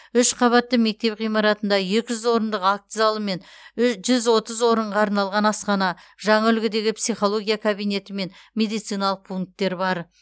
үш қабатты мектеп ғимаратында екі жүз орындық акт залы мен жүз отыз орынға арналған асхана жаңа үлгідегі психология кабинеті мен медициналық пункттер бар